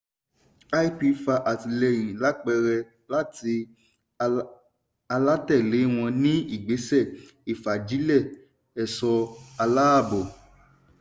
lp fa àtìlẹ́yìn lápẹẹrẹ láti alátẹ̀lẹ́ wọn ní ìgbésẹ ìfagilè ẹ̀ṣọ́ aláàbò.